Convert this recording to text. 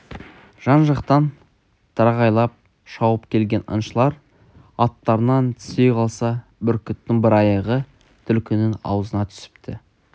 жан-жақтан тырағайлап шауып келген аңшылар аттарынан түсе қалса бүркіттің бір аяғы түлкінің аузына түсіпті